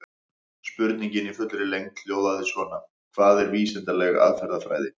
Spurningin í fullri lengd hljóðaði svona: Hvað er vísindaleg aðferðafræði?